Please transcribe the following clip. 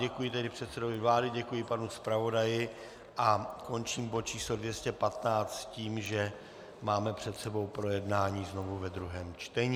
Děkuji tedy předsedovi vlády, děkuji panu zpravodaji a končím bod číslo 215 s tím, že máme před sebou projednání znovu ve druhém čtení.